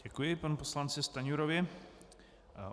Děkuji panu poslanci Stanjurovi.